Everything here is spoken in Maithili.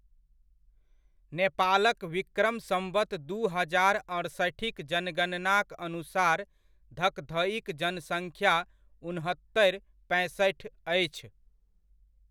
नेपालक विक्रम सम्वत दू हजार अड़सठिक जनगणनाक अनुसार धकधइक जनसङ्ख्या उनहत्तरि पैंसठि अछि।